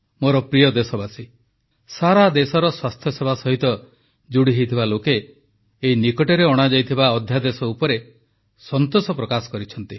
ମୋର ପ୍ରିୟ ଦେଶବାସୀଗଣ ସାରାଦେଶର ସ୍ୱାସ୍ଥ୍ୟସେବା ସହିତ ଯୋଡ଼ିହୋଇଥିବା ଲୋକେ ଏଇ ନିକଟରେ ଅଣାଯାଇଥିବା ଅଧ୍ୟାଦେଶ ଉପରେ ସନ୍ତୋଷ ପ୍ରକାଶ କରିଛନ୍ତି